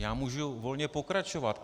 Já můžu volně pokračovat.